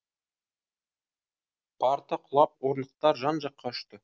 парта құлап орындықтар жан жаққа ұшты